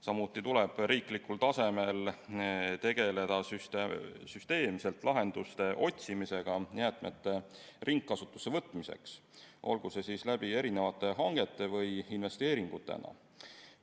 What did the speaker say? Samuti tuleb riiklikul tasemel tegeleda süsteemselt lahenduste otsimisega jäätmete ringkasutusse võtmiseks, olgu see siis erinevate hangete kaudu või investeeringutena.